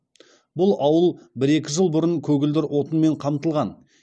бұл ауыл бір екі жыл бұрын көгілдір отынмен қамтылған